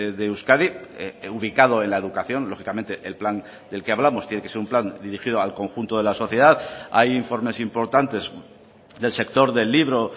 de euskadi ubicado en la educación lógicamente el plan del que hablamos tiene que ser un plan dirigido al conjunto de la sociedad hay informes importantes del sector del libro